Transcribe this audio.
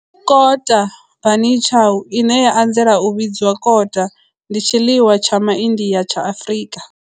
Kota bunny chow, ine ya anzela u vhidzwa kota, ndi tshiḽiwa tsha MaIndia tsha Afrika.